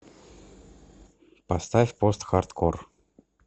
поставь постхардкор